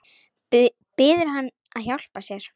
Biður hann að hjálpa sér.